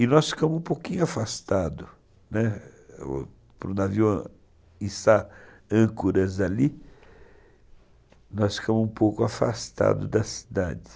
E nós ficamos um pouquinho afastados, né, para o navio âncoras ali, nós ficamos um pouco afastados da cidade.